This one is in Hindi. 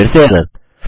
फिर से एरर